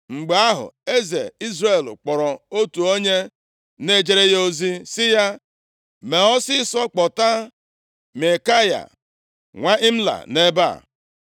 Mgbe ahụ, eze Izrel kpọrọ otu onye na-ejere ya ozi sị ya, “Mee ọsịịsọ kpọta Maikaya nwa Imla nʼebe a.”